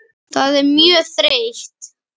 Það er mjög þreytt.